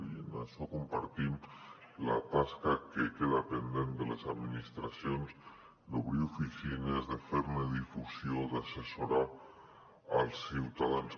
i en això compartim la tasca que queda pendent de les administracions d’obrir oficines de fer ne difusió d’assessorar els ciutadans